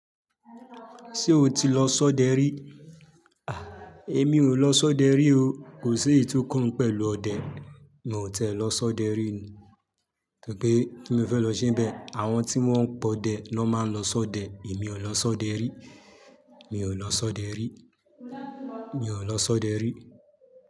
Ṣé o ti lọ sọ́dẹ rí? À, èmi ò lọ sọ́dẹ rí o. Kò sí èyi tò kan mi pẹ̀lú ọdẹ. Mi ò tiẹ́ lọ sọ́dẹ rí ni. Torí pé kín mo fẹ́ lọ ṣénbẹ̀, àwọn tí wọ́n ń pọdẹ ni wón máa ń lọ sọdẹ. Èmi ò lọ sọdẹ rí. Mi ò lọ sọdẹ rí. Mi ò lọ sọdẹ rí.